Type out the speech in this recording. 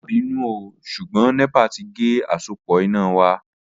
Ma binu ooo ṣugbọn nepa ti ge asopọ ina wa